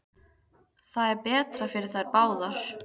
Það er betra fyrir þær báðar.